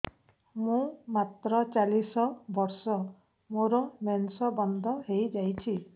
ମୁଁ ମାତ୍ର ଚାଳିଶ ବର୍ଷ ମୋର ମେନ୍ସ ବନ୍ଦ ହେଇଯାଇଛି